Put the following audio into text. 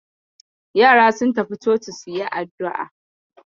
Yaran sun tafi coci su yi addu'a.